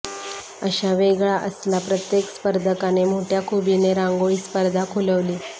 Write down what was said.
अश्या वेगळा असला प्रत्येक स्पर्धकाने मोठ्या खुबीने रांगोळी स्पर्धा खुलवली